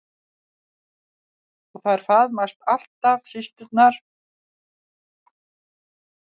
Og þær faðmast alltaf systurnar.